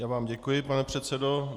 Já vám děkuji, pane předsedo.